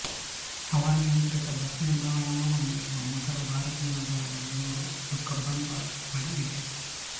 ಹವಾನಿಯಂತ್ರಿತ ಬಸ್ ನಿಲ್ದಾಣವನ್ನು ಹೊಂದಿರುವ ಮೊದಲ ಭಾರತೀಯ ನಗರ ಬೆಂಗಳೂರು ಇದು ಕಬ್ಬನ್ ಪಾರ್ಕ್ ಬಳಿ ಇದೆ